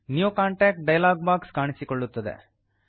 new contact dialog box ಕಾಣಿಸಿಕೊಳ್ಳುತ್ತದೆ